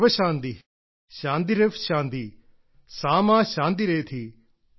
സർവ്വശാന്തി ശാന്തിരെവ് ശാന്തി സാ മാ ശാന്തിരേധി